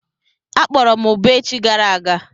Akpọrọ m ụbọ echi gara aga.